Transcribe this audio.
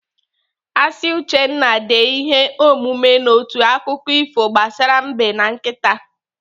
Asị Uchenna dee ihe omume n'otu akụkọ ifo gbasara Mbe na nkịta.